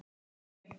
hrópaði pabbi.